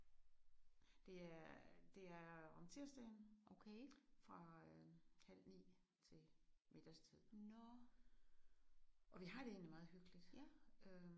Det er det er om tirsdagen fra øh halv 9 til middagstid. Og vi har det egentlig meget hyggeligt øh